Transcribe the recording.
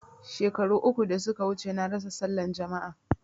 Shekaru uku da suka wuce na rasa sallan jama'a